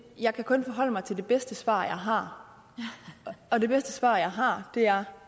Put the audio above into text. jeg kan kun forholde mig til det bedste svar jeg har og det bedste svar jeg har er